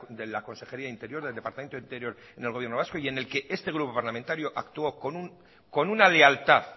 de la consejería de interior del departamento de interior en el gobierno vasco y en el que este grupo parlamentario actuó con una lealtad